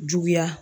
Juguya